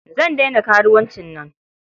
Zan daina karuwancin nan.